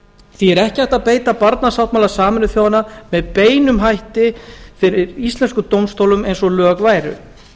því er ekki hægt að beita barnasáttmála sameinuðu þjóðanna með beinum hætti fyrir íslenskum dómstólum eins og lög væru